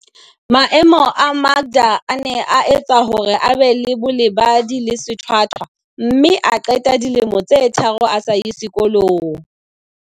Maemo a Makda a ne a etsa hore a be le bolebadi le sethwa thwa mme a qeta dilemo tse tharo a sa ye sekolong.